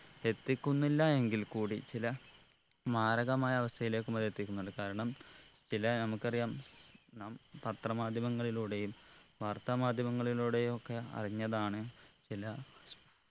എത്തിക്കുന്നില്ല എങ്കിൽ കൂടി ചില മാരകമായ അവസ്ഥയിലേക്കും അത് എത്തിക്കുന്നുണ്ട് കാരണം ചില നമുക്കറിയാം നാം പത്ര മാധ്യമങ്ങളിലൂടെയും വാർത്താ മാധ്യമങ്ങളിലൂടെയൊക്കെ അറിഞ്ഞതാണ് ചില